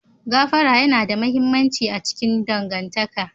Gafara yana da mahimmanci a cikin dangantaka.